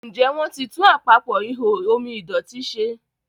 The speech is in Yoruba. Njé wón tí tún Àpapọ̀ ihò omi ìdọ̀tító ṣe?